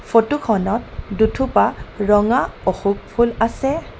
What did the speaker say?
Photo খনত দুথূপা ৰঙা অশোক ফুল আছে.